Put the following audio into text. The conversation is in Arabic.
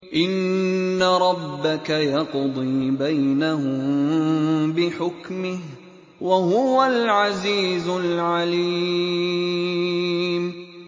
إِنَّ رَبَّكَ يَقْضِي بَيْنَهُم بِحُكْمِهِ ۚ وَهُوَ الْعَزِيزُ الْعَلِيمُ